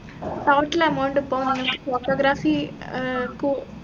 total amount ഇപ്പൊ വന്നത് photography ഏർ കൂ